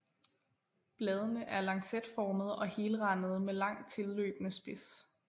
Bladene er lancetformede og helrandede med langt tilløbende spids